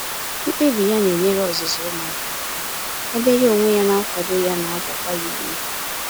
Mkpebi ya na enyere ọzụzụ umuaka aka, ebe ya onwe ya na akwado ya na agbakwa ya ume